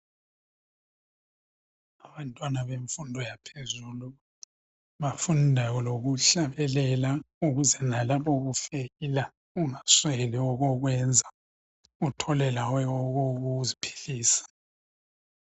Abantwana bemfundo yaphezulu bafunda lokuhlabelela ukuze lalabo kufeyila ungasweli okokwenza uthola lawe okokuziphilisa.